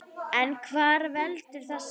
En hvað veldur þessu?